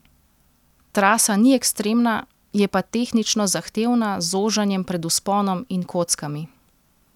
Trasa ni ekstremna, je pa tehnično zahtevna z zožanjem pred vzponom in kockami.